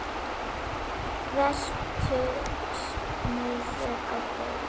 Veltur niður á gólf.